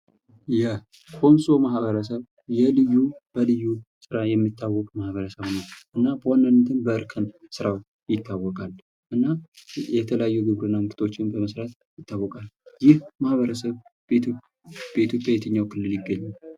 የኮንሶ ማህበረሰብ የልዩ በልዩ ስራ የሚታወቅ ማህበረሰብ ነው። እና በዋናነት በእርከን ስራው ይታወቃል። እና የተለያዩ ግብርና ምርቶችን በመስራት ይታወቃል። ይህ ማህበርሰብ በኢትዮጵያ የትኛው ይገኛል?